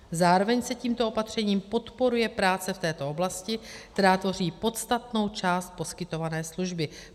Zároveň se tímto opatřením podporuje práce v této oblasti, která tvoří podstatnou část poskytované služby.